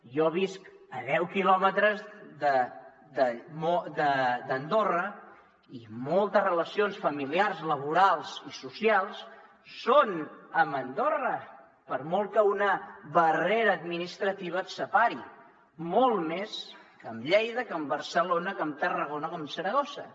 jo visc a deu quilòmetres d’andorra i moltes relacions familiars laborals i socials són amb andorra per molt que una barrera administrativa et separi molt més que amb lleida que amb barcelona que amb tarragona o que amb saragossa